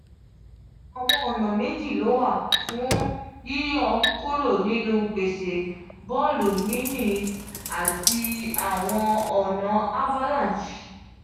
awọn ọna meji lo wa fun yiyọ kuro ninu gbese bọọlu yinyin ati awọn ọna avalanche.